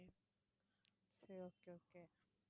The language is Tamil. சரி okay okay